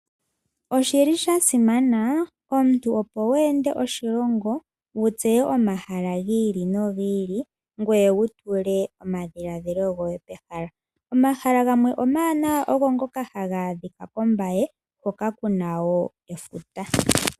Oshili sha simana omuntu opo wu ende oshilongo wu tseye omahala gi ili no gi ili ngwe wutule omadhiladhilo goye pehala. Omahala gamwe omawanawa ogo ngoka haga adhika kombaye hoka kuna woo efuta.